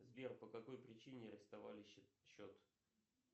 сбер по какой причине арестовали счет